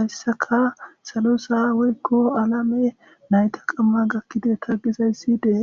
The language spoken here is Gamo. hayssaka salo sa'a woyko alame nayta qamma gaakideta gizaysi de'es.